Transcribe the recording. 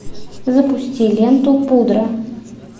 запусти ленту пудра